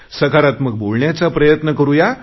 सकारात्मक बोलण्याचा प्रयत्न करुया